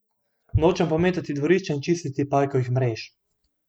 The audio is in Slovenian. Nočem pometati dvorišča in čistiti pajkovih mrež.